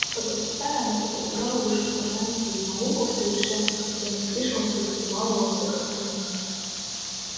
подрастая она постигала вышеупомянутую науку в совершенстве хотя и не слишком преуспевала во всех остальных